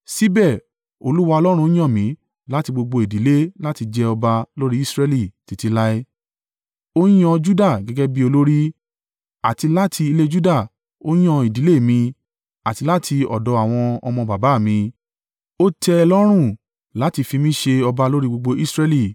“Síbẹ̀ Olúwa, Ọlọ́run Israẹli yàn mí láti gbogbo ìdílé láti jẹ́ ọba lórí Israẹli, títí láé. Ó yan Juda gẹ́gẹ́ bí olórí, àti láti ilé Juda, ó yan ìdílé mi, àti láti ọ̀dọ̀ àwọn ọmọ baba à mí, ó tẹ́ Ẹ lọ́rùn láti fi mí ṣe ọba lórí gbogbo Israẹli.